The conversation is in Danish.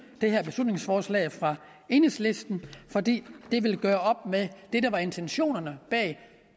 det her beslutningsforslag fra enhedslisten for det vil gøre op med det der er intentionerne bag